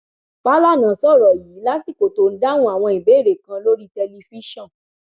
fàlànà sọrọ yìí lásìkò tó ń dáhùn àwọn ìbéèrè kan lórí tẹlifíṣọn